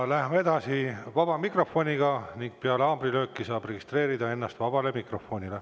Läheme edasi vaba mikrofoniga ning peale haamrilööki saab registreerida ennast sõnavõtuks vabas mikrofonis.